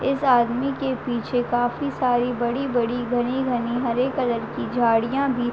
इस आदमी के पीछे काफी सारी बड़ी-बड़ी घनी-घनी हरे कलर की झाडियाँ भी --